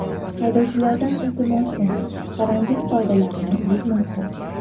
Haydovchilardan iltimosim, karantin qoidalarini buzmasin.